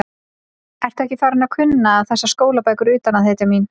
Ertu ekki farin að kunna þessar skólabækur utan að, hetjan mín?